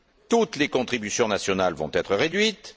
Toutes les contributions nationales vont être réduites